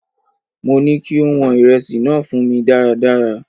Mo ní kí ó wọn ìrẹsì náà fún mí dáradára!